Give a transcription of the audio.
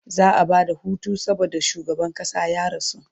za'a Bada Hutu saboda shugaban ƙasa ya rasu